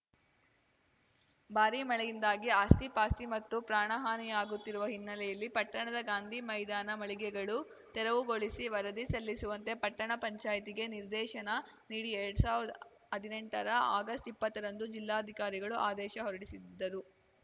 ಭಾರೀ ಮಳೆಯಿಂದಾಗಿ ಆಸ್ತಿಪಾಸ್ತಿ ಮತ್ತು ಪ್ರಾಣಹಾನಿಯಾಗುತ್ತಿರುವ ಹಿನ್ನೆಲೆಯಲ್ಲಿ ಪಟ್ಟಣದ ಗಾಂಧಿ ಮೈದಾನ ಮಳಿಗೆಗಳು ತೆರವುಗೊಳಿಸಿ ವರದಿ ಸಲ್ಲಿಸುವಂತೆ ಪಟ್ಟಣ ಪಂಚಾಯಿತಿಗೆ ನಿರ್ದೇಶನ ನೀಡಿ ಎರಡ್ ಸಾವಿರ್ದಾ ಹದ್ನೆಂಟರ ಆಗಸ್ಟ್ಇಪ್ಪತ್ತರಂದು ಜಿಲ್ಲಾಧಿಕಾರಿಗಳು ಆದೇಶ ಹೊರಡಿಸಿದ್ದರು